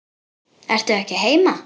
Ertu ekki heima?